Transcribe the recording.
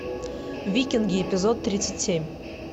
викинги эпизод тридцать семь